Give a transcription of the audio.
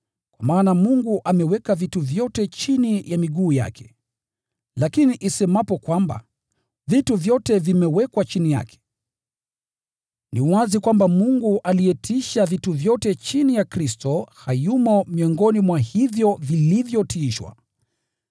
Kwa maana Mungu “ameweka vitu vyote chini ya miguu yake.” Lakini isemapo kwamba “vitu vyote” vimewekwa chini yake, ni wazi kwamba Mungu aliyetiisha vitu vyote chini ya Kristo hayumo miongoni mwa hivyo vilivyotiishwa.